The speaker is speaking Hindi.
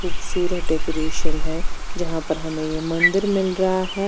खूबसूरत डेकोरेशन है जहाँ पर हमे ये मंदिर मिल गया है।